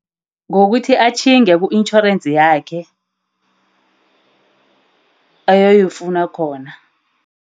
Ngokuthi atjhinge ku-insurance yakhe oyifuna khona.